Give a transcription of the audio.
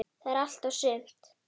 Það er allt og sumt.